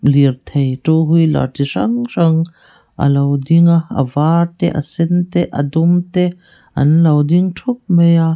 lirthei two wheeler chi hrang hrang a lo ding a a var te a sen te a dum te an lo ding thup mai a.